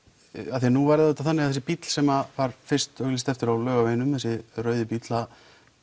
af því að nú er þetta þannig að þessi bíll sem var fyrst auglýst eftir á Laugaveginum þessi rauði bíll það